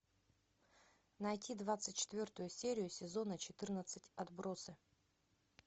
найти двадцать четвертую серию сезона четырнадцать отбросы